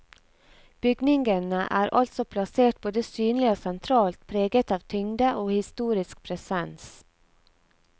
Bygningene er altså plassert både synlig og sentralt, preget av tyngde og historisk presens.